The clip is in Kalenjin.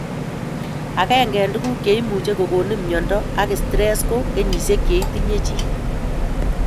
Agenge en tuguk che imuch kogonin myondo ab stress ko kenyisiek che tinye chii